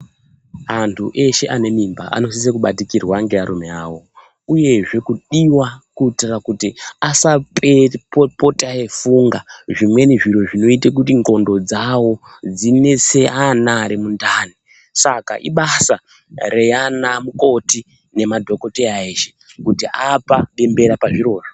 Antu eshee ane mimba anosise kubatikirwa nevarume vavo uye zvee kudiwa kuitira kuti asapota eifunga zvimweni zviro zvinoita kuti ndxondo dzavo dzinese ana ari mundani saka ibasa reana mukoti nemadhokodheya eshee kuti apa bembera pazviro zvoo.